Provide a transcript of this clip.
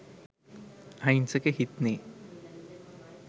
අහිංසක හිත්නේ